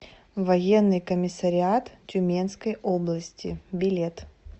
военный комиссариат тюменской области билет